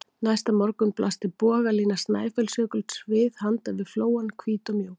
Næsta morgun blasti bogalína Snæfellsjökuls við handan við flóann, hvít og mjúk.